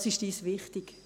Das ist uns wichtig.